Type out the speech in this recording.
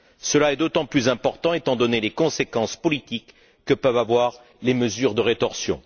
Cela est d'autant plus important étant donné les conséquences politiques que peuvent avoir les mesures de rétorsion.